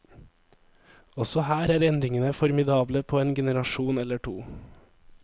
Også her er endringene formidable på en generasjon eller to.